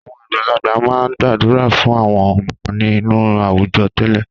Àwọn àgbàlagbà máa ń gbàdúrà fún àwọn ọmọ inú àwùjọ tẹ́lẹ̀.